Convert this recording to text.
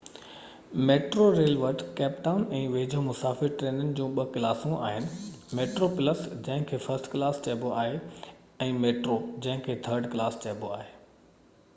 metro rail وٽ Cape Town ۽ ويجهو مسافر ٽرينن جون ٻہ ڪلاسون آهن: ميٽرو پلس جنهن کي فرسٽ ڪلاس چئبو آهي ۽ ميٽرو جنهن کي ٿرڊ ڪلاس چئبو آهي